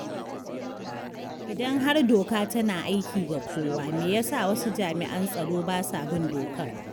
Idan har doka tana aiki ga kowa, me yasa wasu jami’an tsaro ba sa bin dokar?